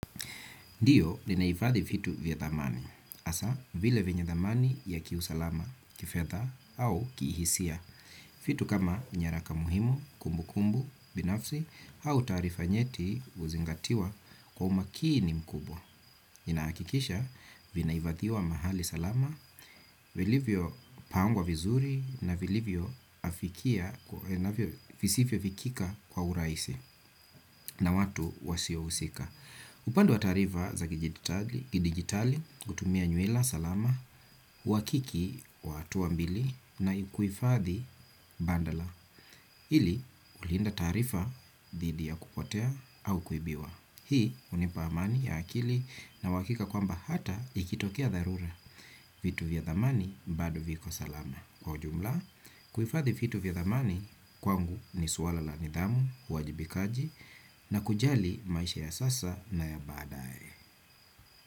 Ndio, ninahifadhi vitu vya dhamani. Hasa, vile vyenye dhamani ya kiusalama, kifedha au kihisia. Vitu kama nyaraka muhimu, kumbu kumbu binafsi, au taarifa nyeti huzingatiwa kwa umakini mkubwa. Ninahakikisha, vinahifadhiwa mahali salama, vilivyopangwa vizuri na vilivyo visivyo vikika kwa urahisi na watu wasio husika. Upande wa taarifa za kidigitali hutumia nywila salama, uhakiki, wa hatua mbili na kuhifathi bandala, ili kulinda taarifa dhidi ya kupotea au kuibiwa. Hii hunipa amani ya akili na uhakika kwamba hata ikitokea dharura, vitu vya dhamani bado viko salama. Kwa ujumla, kuhifadhi vitu vya dhamani kwangu ni suala la nidhamu, uwajibikaji na kujali maisha ya sasa na ya baadaye.